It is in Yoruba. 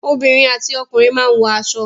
Obìnrin àti ọkùnrin máa wọ aṣọ.